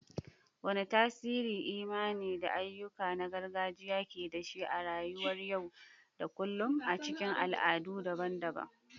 Wane tasiri imani da ayyuka na gargajiya ke da shi a rayuwar yau da kullun a cikin al'adu daban-daban?